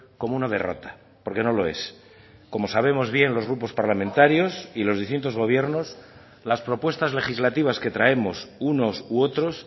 como una derrota porque no lo es como sabemos bien los grupos parlamentarios y los distintos gobiernos las propuestas legislativas que traemos unos u otros